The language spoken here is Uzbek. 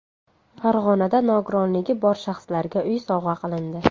Farg‘onada nogironligi bor shaxslarga uy sovg‘a qilindi.